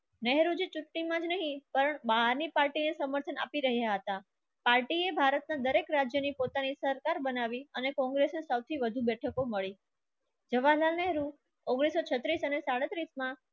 પણ બહારની પાર્ટી સમર્થન આપી રહ્યા હતા. પાર્ટી એ ભારતના દરેક રાજ્યની પોતાની સરકાર બનાવી અને કોંગ્રેસને સૌથી વધુ બેઠકો મળી જવાહરલ નેહરુ ઉંગ્નીસ સો છત્રીસ અને સ્ડેત્રીસ માં